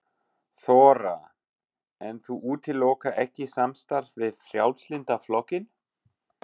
Þóra: En þú útilokar ekki samstarf við Frjálslynda flokkinn?